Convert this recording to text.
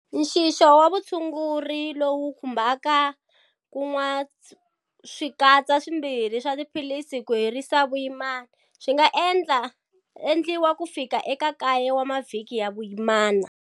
Nxixo wa vutshunguri, lowu wu khumbaka ku nwaswikatsa swimbirhi swa tiphilisi ku herisa vuyimana, swi nga endliwa kufika eka kaye wa mavhiki ya vuyimana.